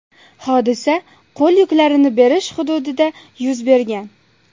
Hodisa qo‘l yuklarini berish hududida yuz bergan.